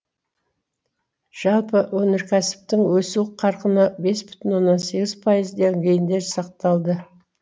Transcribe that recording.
жалпы өнеркәсіптің өсу қарқыны бес бүтін оннан сегіз пайыз деңгейінде сақталды